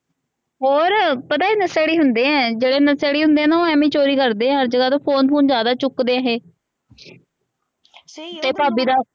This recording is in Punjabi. ਹੋਰ ਪਤਾ ਨਸ਼ੇੜੀ ਹੁੰਦੇ ਆ ਜੇਹੜੇ ਨਸ਼ੇੜੀ ਹੁੰਦੇ ਆ ਓਹ ਨਾ ਇੰਵੇ ਚੋਰੀ ਕਰਦੇ ਆ ਅੱਜ ਕਲ ਫੋਨ ਫੂਨ ਜ਼ਿਆਦਾ ਚੁਕਦੇ ਆ ਇਹ ਤੇ ਭਾਭੀ ਦਾ